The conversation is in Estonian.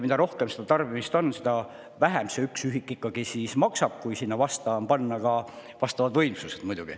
Mida rohkem tarbimist on, seda vähem see üks ühik ikkagi maksab, kui on olemas vastavad võimsused.